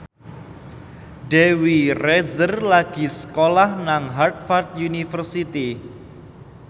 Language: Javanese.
Dewi Rezer lagi sekolah nang Harvard university